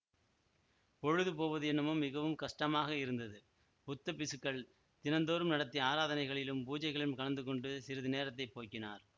பொழுது போவது என்னமோ மிகவும் கஷ்டமாக இருந்தது புத்த பிக்ஷுக்கள் தினந்தோறும் நடத்திய ஆராதனைகளிலும் பூஜைகளிலும் கலந்துகொண்டு சிறிது நேரத்தை போக்கினார்